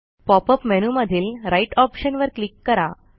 pop up मेनूमधील right option वर click करा